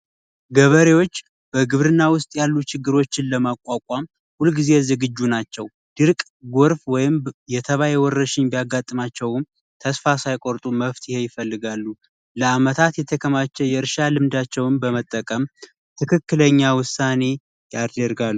ገበሬዎች በግብርና ውስጥ ያሉ ችግሮችን ለማቋቋም ሁልጊዜ ዝግጁ ናቸው ድርቅ ጎርፍ ወይም የተባይ ወረርሽኝ ቢያጋጥማቸውም ተስፋ ሳይቆርጡ መፍትሄ ይፈልጋሉ። ለአመታት የተከማቸው የእርሻ ልምዳቸውን በመጠቀም ትክክለኛ ውሳኔ ያደርጋሉ።